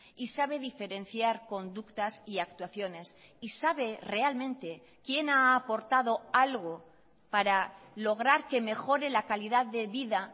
y sabe diferenciar conductas y actuaciones y sabe realmente quién ha aportado algo para lograr que mejore la calidad de vida